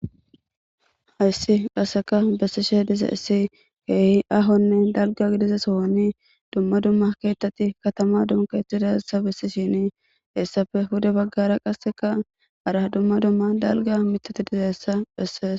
Hayssi qassika bessishee dizayssi keehi aahonne dalgganne gidiza sohoni dumma dumma keeththathi kathamaa giddon keexeththida bessishiini hessape pude baggara qassika hara dumma dumma dalgga miththathi dizayssa bessees.